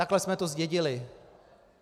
Takhle jsme to zdědili.